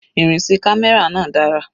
Ìrìn sí camera náà dára.